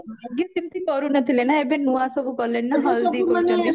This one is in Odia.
ଆଗେ ସେମତି କରୁନଥିଲେ ନା ଏବେ ନୂଆ ସବୁ କଲେଣି ନା ହଳଦୀ କରୁଚନ୍ତି